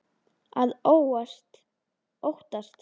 Að óttast!